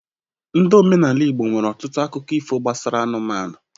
Ndị omenala igbo nwere ọtụtụ akụkọ ifo gbasara anụmanụ